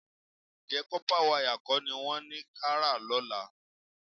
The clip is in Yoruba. Ǹjẹ́ kọ́pá wayà kọ́ ni wọ́n ní ká rà lọ́la?